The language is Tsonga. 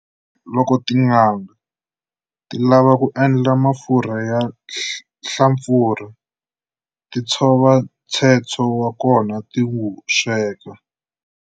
Loko tin'anga ti lava ku endla mafurha ya nhlampfurha, ti tshova ntshetsho wa kona ti wu sweka.